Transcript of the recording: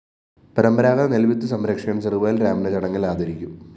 പരമ്പരാതഗത നെല്‍വിത്ത് സംരക്ഷകന്‍ ചെറുവയല്‍ രാമനെ ചടങ്ങില്‍ ആദരിക്കും